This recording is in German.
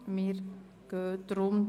– Dies ist nicht der Fall.